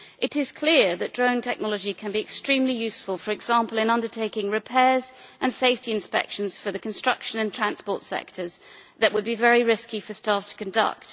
It is clear that drone technology can be extremely useful for example, in undertaking repairs and safety inspections in the construction and transport sectors that would be very risky for staff to conduct.